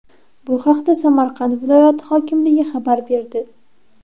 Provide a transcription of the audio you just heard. Bu haqda Samarqand viloyati hokimligi xabar berdi .